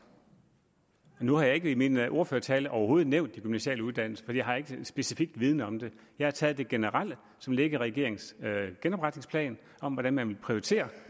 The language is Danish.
nu har jeg i min ordførertale overhovedet ikke nævnt de gymnasiale uddannelser for jeg har ikke specifik viden om dem jeg har taget det som generelt ligger i regeringens genopretningsplan om hvordan man vil prioritere